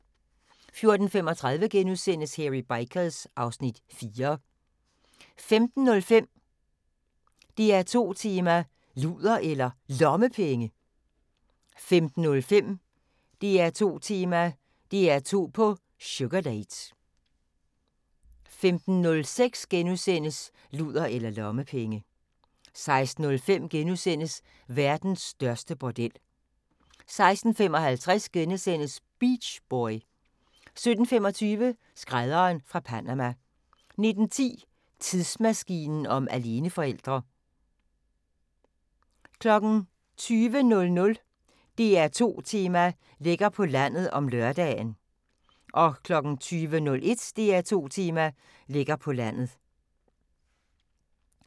14:35: Hairy Bikers (Afs. 4)* 15:05: DR2 Tema: Luder eller Lommepenge? 15:05: DR2 Tema: DR2 på sugardate * 15:06: Luder eller lommepenge * 16:05: Verdens største bordel * 16:55: Beach boy * 17:25: Skrædderen fra Panama 19:10: Tidsmaskinen om aleneforældre 20:00: DR2 Tema: Lækker på landet (lør) 20:01: DR2 Tema: Lækker på landet